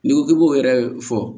N'i ko k'i b'o yɛrɛ fɔ